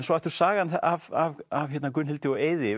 svo aftur sagan af af Gunnhildi og Eiði